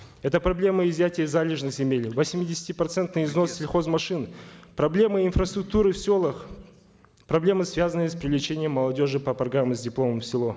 это проблемы изъятия залежных земель восьмидесятипроцентный износ сельхозмашин проблемы инфраструктуры в селах проблемы связанные с привлечением молодежи по программе с дипломом в село